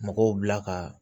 Mɔgɔw bila ka